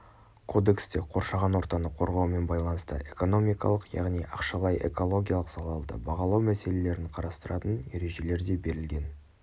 кодексте қоршаған ортаны қорғаумен байланысты экономикалық яғни ақшалай экологиялық залалды бағалау мәселелерін қарастыратын ережелер де берілген